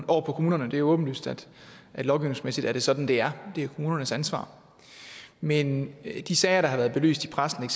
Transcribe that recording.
over på kommunerne det er åbenlyst at lovgivningsmæssigt er det sådan det er det er kommunernes ansvar men de sager der har været belyst i pressen